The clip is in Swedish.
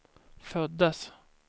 föddes